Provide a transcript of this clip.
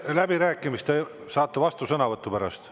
Läbirääkimistel saate vastusõnavõtu pärast.